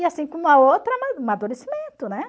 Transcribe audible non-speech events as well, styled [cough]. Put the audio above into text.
E assim, com uma outra [unintelligible] amadurecimento, né?